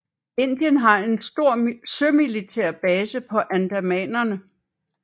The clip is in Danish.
Indien har en stor sømilitær base på Andamanerne